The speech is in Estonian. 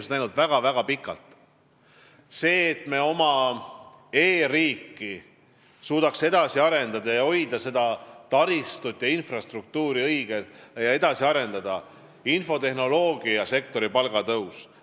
Selleks, et me suudaks edasi arendada oma e-riiki, hoida ja edasi arendada seda taristut, infrastruktuuri, on olnud õige tõsta palku infotehnoloogia sektoris.